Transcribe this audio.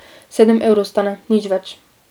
Sedem evrov stane, nič več.